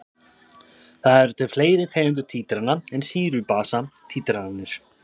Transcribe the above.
Það eru til fleiri tegundir títrana en sýru-basa títranir.